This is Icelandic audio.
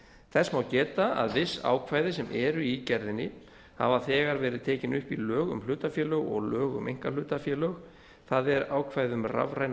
þess má geta að viss ákvæði sem eru í gerðinni hafa þegar verið tekin upp í lög um hlutafélög og lög um einkahlutafélög það er ákvæði um rafræna